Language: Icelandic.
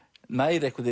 nær